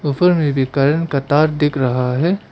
ऊपर में भी करेंट का तार दिख रहा है।